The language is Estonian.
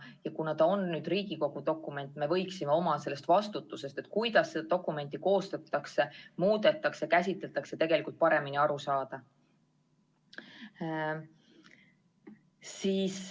Ja kuna see on Riigikogu dokument, siis me võiksime oma vastutusest, kuidas seda dokumenti koostada, muuta ja käsitada, tegelikult paremini aru saada.